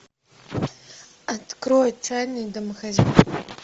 открой отчаянные домохозяйки